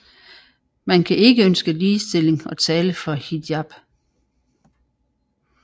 Man kan ikke ønske ligestilling og tale for hijab